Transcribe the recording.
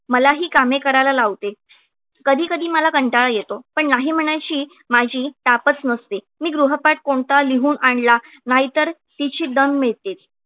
मलाही कामे करायला लावते कधी कधी मला कंटाळा येतो पण नाही म्हणायची माझी ताकद नसते. मी गृहपाठ कोणता लिहून आणला नाही तर तिची दम मिळते